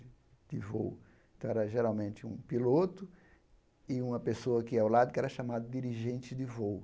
De voo então era geralmente um piloto e uma pessoa que ia ao lado, que era chamada dirigente de voo.